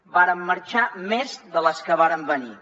en varen marxar més de les que varen venir